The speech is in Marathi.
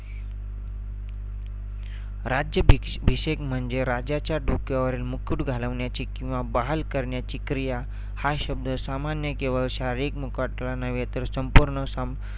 राज्य भिक्ष~ भिषेक म्हणजे राजाचा डोक्यावरील मुकुट घालवण्याची किंवा बहाल करण्याची क्रिया, हा शब्द सामान्य केवळ शारीरिक मुकट ला नव्हे तर संपूर्ण सं